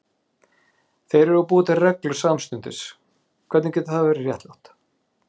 Þeir eru að búa til reglur samstundis, hvernig getur það verið réttlátt?